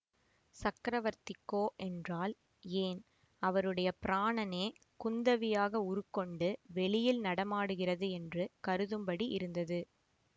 சக்கரவர்த்திக்கோ என்றால் ஏன் அவருடைய பிராணனே குந்தவியாக உருக்கொண்டு வெளியில் நடமாடுகிறது என்று கருதும்படி இருந்தது